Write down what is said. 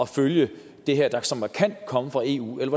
følge det her som kan komme fra eu eller